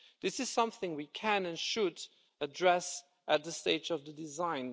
This is something we can and should address at this stage of the design.